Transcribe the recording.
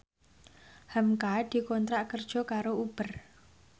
hamka dikontrak kerja karo Uber